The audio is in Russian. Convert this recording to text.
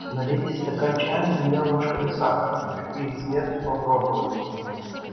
налейте стакан чая с двумя ложками сахара хочу перед смертью попробовать